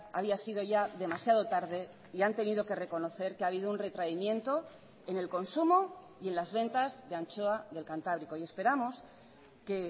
había sido ya demasiado tarde y han tenido que reconocer que ha habido un retraimiento en el consumo y en las ventas de anchoa del cantábrico y esperamos que